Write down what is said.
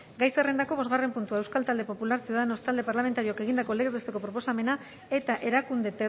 gai zerrendako bosgarren puntua euskal talde popular ciudadanos talde parlamentarioak egindako legez besteko proposamena eta erakunde